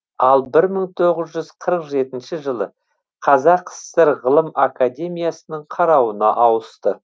ал бір мың тоғыз жүз қырық жетінші жылы қазақ сср ғылым академиясының қарауына ауысты